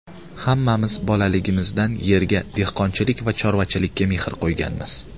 Hammamiz bolaligimizdan yerga, dehqonchilik va chorvachilikka mehr qo‘yganmiz.